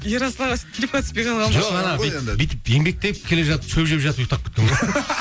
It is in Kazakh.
ерасыл аға сөйтіп клипке түспей қалған ба жоқ анау бүйтіп еңбектеп келе жатып шөп жеп жатып ұйықтап кеткен ғой